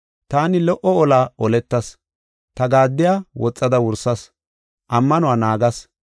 Taani lo77o ola oletas; ta gaaddiya woxada wursas; ammanuwa naagas.